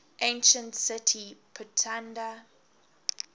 ancient city pithunda